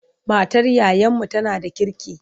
Matar yayanmu tana da kirki.